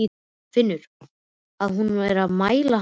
Finnur að hún er að mæla hann út.